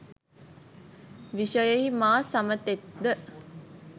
විශයෙහි මා සමතෙක්ද?